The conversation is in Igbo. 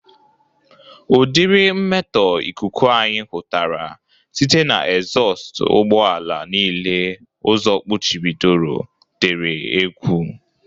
Ụdịrị mmetọ ikuku anyị hụtara site na ezọst ụgbọ ala niile ụzọ kpuchibidoro dịrị egwu